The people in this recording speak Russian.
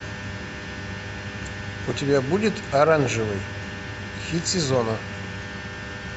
у тебя будет оранжевый хит сезона